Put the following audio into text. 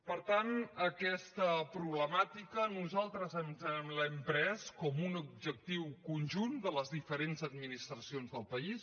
per tant aquesta problemàtica nosaltres ens l’hem pres com un objectiu conjunt de les diferents administracions del país